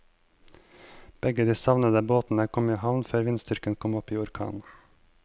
Begge de savnede båtene kom i havn før vindstyrken kom opp i orkan.